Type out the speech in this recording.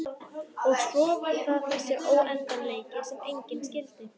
Og svo var það þessi óendanleiki sem enginn skildi.